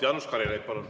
Jaanus Karilaid, palun!